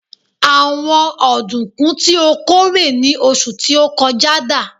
àwọn ọdunkun ti o kórè ni oṣù ti o kọjá dà